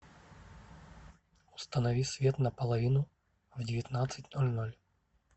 установи свет на половину в девятнадцать ноль ноль